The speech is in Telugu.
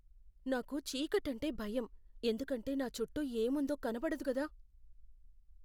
నాకు చీకటంటే భయం ఎందుకంటే నా చుట్టూ ఏముందో కనపడదు కదా.